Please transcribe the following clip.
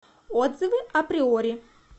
отзывы априори